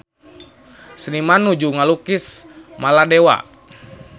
Seniman nuju ngalukis Maladewa